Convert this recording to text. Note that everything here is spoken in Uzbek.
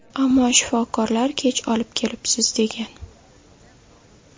Ammo shifokorlar kech olib kelibsiz degan.